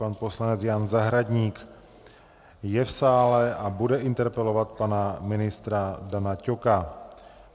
Pan poslanec Jan Zahradník je v sále a bude interpelovat pana ministra Dana Ťoka.